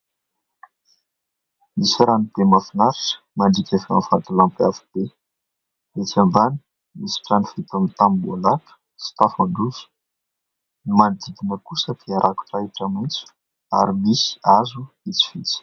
Nisy rano be mahafinaritra mandrika ivohon'ny vantolampy avo be, etsy ambany nisy trano vita amin'ny tamboholata sy tafan-dosy, ny manodidina kosa dia rakotr'ahitra maitso ary misy hazo vitsivitsy.